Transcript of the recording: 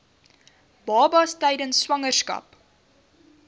babas tydens swangerskap